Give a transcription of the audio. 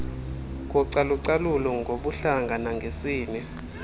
kocalucalulo ngobuhlanga nangesini